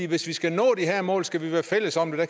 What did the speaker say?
hvis vi skal nå de her mål skal vi være fælles om det